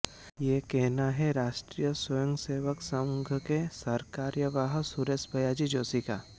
यह कहना है राष्ट्रीय स्वयंसेवक संघ के सरकार्यवाह सुरेश भैय्याजी जोशी का